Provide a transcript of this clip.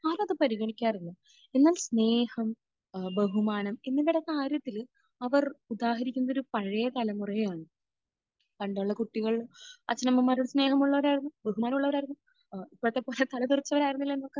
അതാരും പരിഗണിക്കാറില്ല. എന്നാൽ സ്നേഹം, ഏഹ് ബഹുമാനം, ഇങ്ങനത്തെയൊക്കെ കാര്യത്തിൽ അവർ ഉദാഹരിക്കുന്നത് ഒരു പഴയ തലമുറയെയാണ്. പണ്ടുള്ള കുട്ടികൾ അച്ഛനമ്മമാരോട് സ്നേഹമുള്ളവരായിരുന്നു; ബഹുമാനമുള്ളവരായിരുന്നു. ഏഹ് ഇപ്പോഴത്തെ കുട്ടികളെപ്പോലെ തലതെറിച്ചവരായിരുന്നില്ല അന്നത്തെ